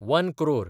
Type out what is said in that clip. one crore